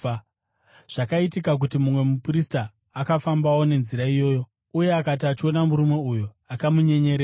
Zvakaitika kuti mumwe muprista akafambawo nenzira iyoyo, uye akati achiona murume uyo, akamunyenyeredza.